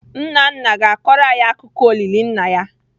Nna nna ga-akọrọ anyị akụkọ olili nna ya.